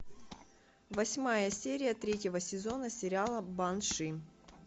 восьмая серия третьего сезона сериала банши